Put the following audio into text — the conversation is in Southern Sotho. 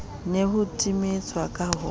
ne ho timetswa ka ho